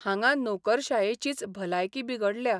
हांगां नोकरशायेचीच भलायकी बिगडल्या.